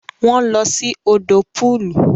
Wọn lọ sí òdò pọọlù